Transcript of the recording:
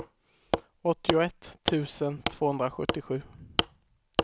åttioett tusen tvåhundrasjuttiosju